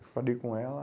Eu falei com ela.